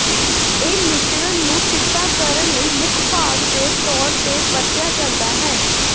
ਇਹ ਮਿਸ਼ਰਣ ਨੂੰ ਚਿੱਟਾ ਕਰਨ ਲਈ ਮੁੱਖ ਭਾਗ ਦੇ ਤੌਰ ਤੇ ਵਰਤਿਆ ਜਾਂਦਾ ਹੈ